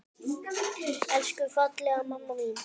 Elsku fallega mamma mín!